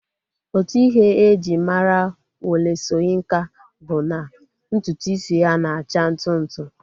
Otu Ihe e ji mara Wole Soyinka bụ na ntutu isi ya na-acha ntụ ntụ